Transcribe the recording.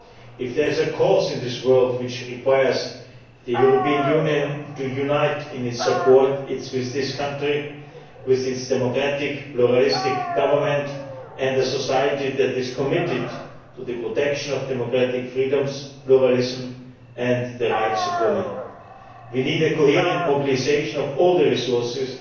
If there is a cause in the world which requires the European Union to be united in its support, it is with this country, with its democratic pluralistic government and a society that is committed to the protection of democratic freedoms, pluralism and the rights of women. We need coherent mobilisation of all the resources